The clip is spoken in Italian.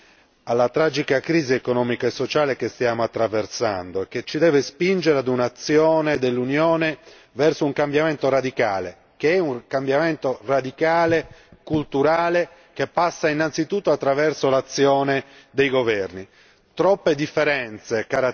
prestare attenzione alla tragica crisi economica e sociale che stiamo attraversando, che ci deve spingere ad un'azione dell'Unione verso un cambiamento radicale, che è anche un cambiamento culturale che passa innanzitutto attraverso l'azione dei governi.